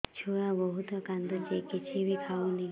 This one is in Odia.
ଛୁଆ ବହୁତ୍ କାନ୍ଦୁଚି କିଛିବି ଖାଉନି